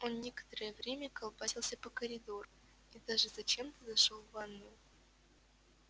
он некоторое время колбасился по коридору и даже зачем-то зашёл в ванную